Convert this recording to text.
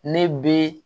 Ne bɛ